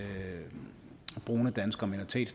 brune danskere